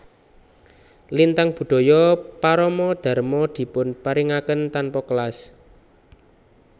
Lintang Budaya Parama Dharma dipun paringaken tanpa kelas